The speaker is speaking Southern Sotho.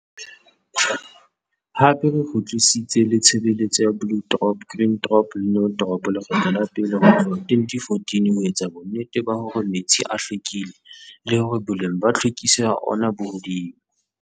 Hape re kgutlisitse le tshebeletso ya Blue Drop, Green Drop le No Drop lekgetlo la pele ho tlohka 2014 ho etsa bonnete ba hore metsi a hlwekile le hore boleng ba tlhwekiso ya ona bo hodimo.